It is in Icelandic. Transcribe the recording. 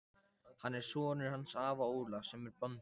Hann er sonur hans afa Ólafs sem er bóndi.